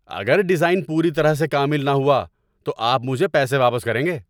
اگر ڈیزائن پوری طرح سے کامل نہ ہوا تو آپ مجھے پیسے واپس کریں گے۔